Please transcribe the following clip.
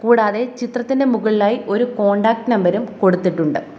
കൂടാതെ ചിത്രത്തിന്റെ മുകളിലായി ഒരു കോൺടാക്ട് നമ്പറും കൊടുത്തിട്ടുണ്ട്.